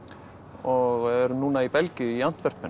og erum núna í Belgíu í